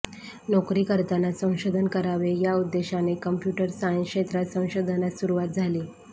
नोकरी करतानाच संशोधन करावे या उद्देशाने कम्प्युटर सायन्स क्षेत्रात संशोधनास सुरुवात झाली